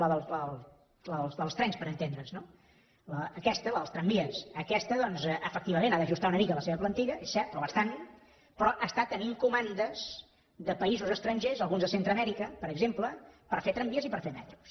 la dels trens per entendre’ns no aquesta la dels tramvies aquesta doncs efectivament ha d’ajustar una mica la seva plantilla és cert o bastant però està tenint comandes de països estrangers alguns de centreamèrica per exemple per fer tramvies i per fer metros